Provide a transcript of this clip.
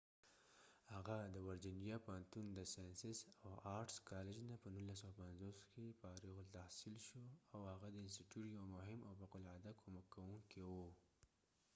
هفه د ورجېنیا پوهنتون د ساینسز او آرټس کالج نه په 1950 کې فارغ التحصیل شو .او هغه د انستیتیوت یو مهم او فوق العاده کومک کوونکې و